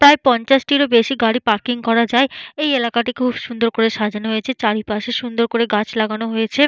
প্রায় পঞ্চাশটির ও বেশি গাড়ি পার্কিং করা যায় ।এই এলাকাটি খুব সুন্দর করে সাজানো হয়েছে চারিপাশে সুন্দর করে গাছ লাগানো হয়েছে।